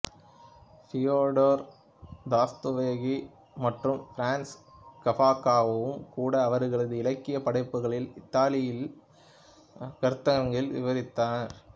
Fyodor Dostoevsky மற்றும் Franz காஃப்காவும் கூட அவர்களது இலக்கிய படைப்புக்களில் இருத்தலியல் கருத்தாக்கங்களை விவரித்தனர்